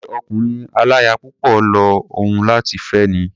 Ṣé ọkùnrin aláya púpọ̀ ló hùn ọ́ láti fé ni?